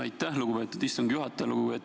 Aitäh, lugupeetud istungi juhataja!